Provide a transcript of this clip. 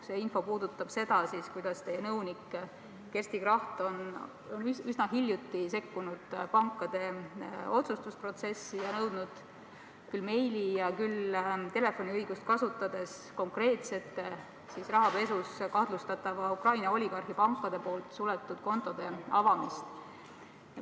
See info puudutab seda, kuidas teie nõunik Kersti Kracht on üsna hiljuti sekkunud pankade otsustusprotsessi ja nõudnud küll meili teel, küll telefoniõigust kasutades rahapesus kahtlustatava Ukraina oligarhi pankade poolt suletud kontode avamist.